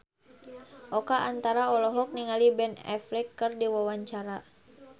Oka Antara olohok ningali Ben Affleck keur diwawancara